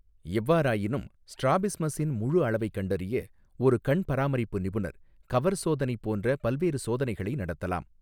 எவ்வாறாயினும், ஸ்ட்ராபிஸ்மஸின் முழு அளவைக் கண்டறிய, ஒரு கண் பராமரிப்பு நிபுணர், கவர் சோதனை போன்ற பல்வேறு சோதனைகளை நடத்தலாம்.